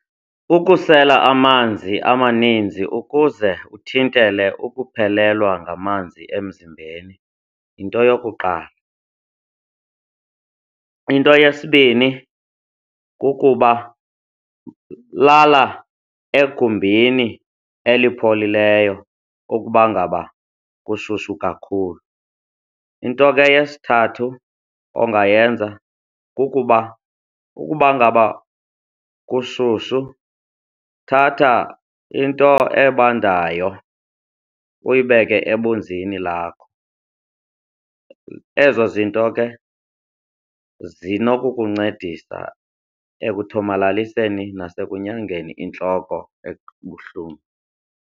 Ukusela amanzi amaninzi ukuze uthintele ukuphelelwa ngamanzi emzimbeni yinto yokuqala. Into yesibini kukuba lala egumbini elipholileyo ukuba ngaba kushushu kakhulu. Into ke yesithathu ongayenza kukuba ukuba ngaba kushushu thatha into ebandayo uyibeke ebunzini lakho, ezo zinto ke zinokukuncedisa ekuthomalaliseni nasekunyangeni intloko ebuhlungu.